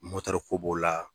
ko b'o la.